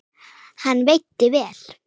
Hann veitti vel